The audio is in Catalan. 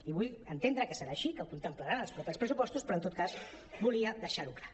i vull entendre que serà així que ho contemplaran els propers pres·supostos però en tot cas volia deixar·ho clar